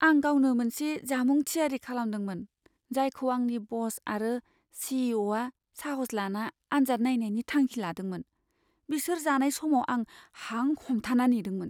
आं गावनो मोनसे जामुं थियारि खालामदोंमोन जायखौ आंनि बस आरो सी. इ. अ. आ साहस लाना आन्जाद नायनायनि थांखि लादोंमोन। बिसोर जानाय समाव आं हां हमथाना नेदोंमोन।